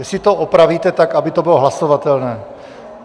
Jestli to opravíte, tak aby to bylo hlasovatelné.